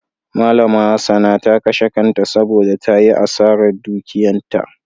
Malama Hassana ta kashe kanta saboda ta yi asarar dukiyanta.